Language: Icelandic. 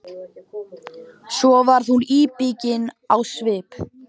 Svo varð hún íbyggin á svip.